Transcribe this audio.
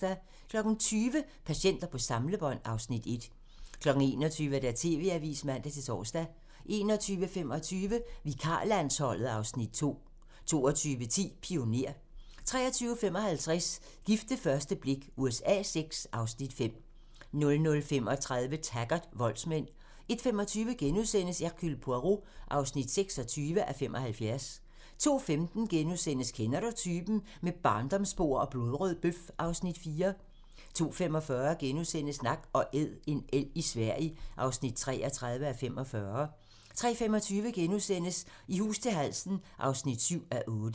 20:00: Patienter på samlebånd (Afs. 1) 21:00: TV-avisen (man-tor) 21:25: Vikarlandsholdet (Afs. 2) 22:10: Pioner 23:55: Gift ved første blik USA VI (Afs. 5) 00:35: Taggart: Voldsmænd 01:25: Hercule Poirot (26:75)* 02:15: Kender du typen? - Med barndomsbord og blodrød bøf (Afs. 4)* 02:45: Nak & Æd - en elg i Sverige (33:45)* 03:25: I hus til halsen (7:8)*